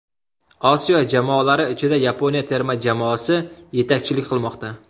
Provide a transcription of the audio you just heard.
Osiyo jamoalari ichida Yaponiya terma jamoasi yetakchilik qilmoqda.